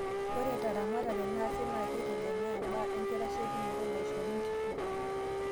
Ore teramatare naasi naa keitegemea ebaa enkitasheikinoto naishori nkishu.